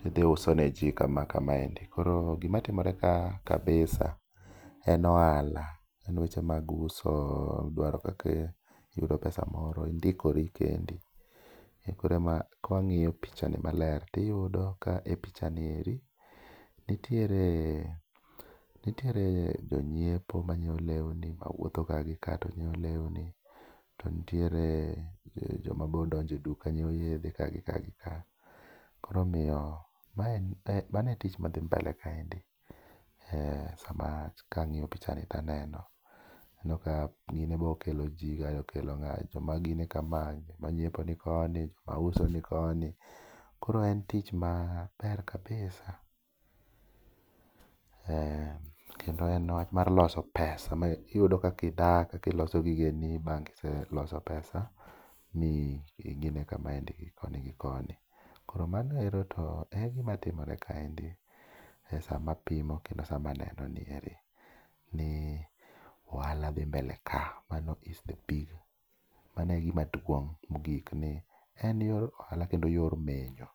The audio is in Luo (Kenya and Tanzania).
tidhi iuso ne ji ka ma kama endi. Koro gima timore ka kabisa en oala, en weche mag uso, dwaro kaki iyudo pesa moro indikori kendi. Koro ema kwang'iyo picha ni maler tiyudo ka e picha nieri nitiere nitiere jonyiepo mayiewo lewni. Ma wuotho ka gi ka to nyiewo lewni, to nitiere joma bedonje duka nyiewo yedhe ka gi ka gi ka. Koro omiyo ma en mano e tich madhi mbele kaendi. Sama kang'iyo picha ni taneno, aneno ka gine bokelo ji gari okelo ng'a joma gine kama joma nyiepo ni koni joma uso ni koni. Koro en tich ma ber kabisa, kendo en wach mar loso pesa ma iyudo kakidak, kakiloso gige ni bang' kiseloso pesa. Mi igine kama endi koni gi koni, koro manoero to e gima timore kaendi e sama apimo kendo sama aneno nieri. Ni ohala dhi mbele ka, mano is the big, mano e gima duong' mogik ni en yor ohala kendo yor menyo.